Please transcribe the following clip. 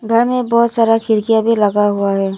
घर में बहोत सारा खिड़कियां भी लगा हुआ है।